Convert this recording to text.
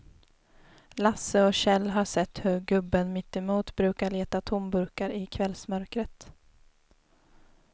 Lasse och Kjell har sett hur gubben mittemot brukar leta tomburkar i kvällsmörkret.